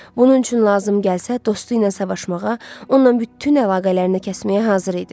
Bunun üçün lazım gəlsə dostu ilə savaşmağa, ondan bütün əlaqələrini kəsməyə hazır idi.